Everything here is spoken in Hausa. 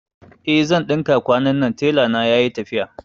Eh zan ɗinka kwanannan, tela na yayi tafiya